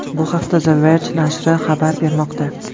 Bu haqda The Verge nashri xabar bermoqda .